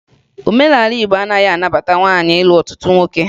Omenala Igbo anaghị anabata nwaanyị ịlụ ọtụtụ nwoke